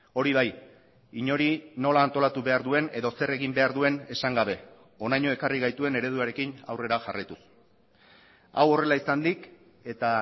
hori bai inori nola antolatu behar duen edo zer egin behar duen esan gabe honaino ekarri gaituen ereduarekin aurrera jarraituz hau horrela izanik eta